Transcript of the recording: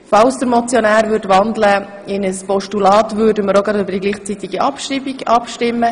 Falls der Motionär in ein Postulat wandeln würde, würden wir über eine gleichzeitige Abschreibung abstimmen.